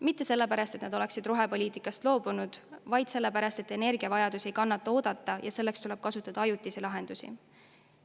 Mitte sellepärast, et nad oleksid rohepoliitikast loobunud, vaid sellepärast, et energiavajadus ei kannata oodata ja selleks tuleb kasutada ajutisi lahendusi.